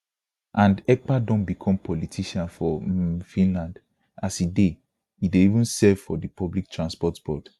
and ekpa don become politician for um finland as e dey e dey even serve for di public transport board